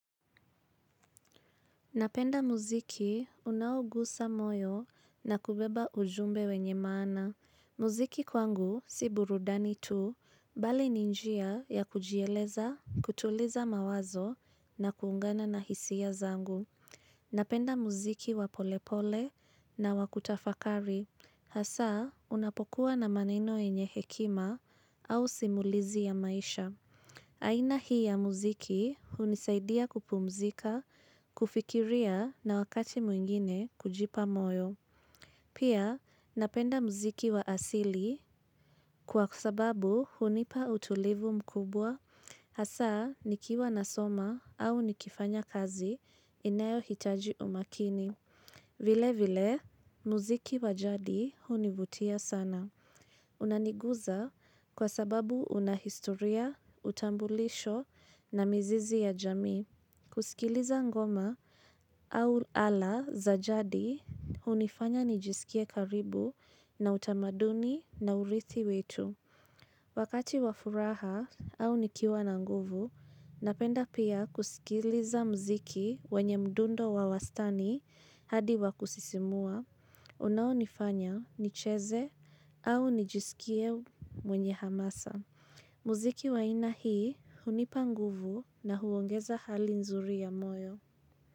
Napenda muziki unaogusa moyo na kubeba ujumbe wenye maana. Muziki kwangu si burudani tu, mbali ni njia ya kujieleza, kutuliza mawazo na kuungana na hisia zangu. Napenda muziki wa polepole na wa kutafakari. Hasa, unapokuwa na maneno yenye hekima au simulizi ya maisha. Aina hii ya muziki hunisaidia kupumzika, kufikiria na wakati mwingine kujipa moyo. Pia napenda muziki wa asili kwa sababu hunipa utulivu mkubwa, hasa nikiwa nasoma au nikifanya kazi inayo hitaji umakini. Vile vile, muziki wa jadi hunivutia sana. Unaniguza kwa sababu una historia, utambulisho na mizizi ya jamii kusikiliza ngoma au ala za jadi hunifanya nijisikie karibu na utamaduni na urithi wetu. Wakati wa furaha au nikiwa na nguvu, napenda pia kusikiliza mziki wanye mdundo wa wastani hadi wakusisimua, unaonifanya nicheze au nijisikie mwenye hamasa. Mziki wa aina hii hunipa nguvu na huongeza hali nzuri ya moyo.